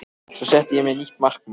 Svo setti ég mér nýtt markmið